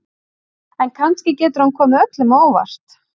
En kannski getur hann komið öllum á óvart.